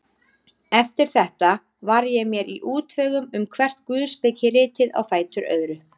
Eftir þetta var ég mér í útvegum um hvert guðspekiritið á fætur öðru.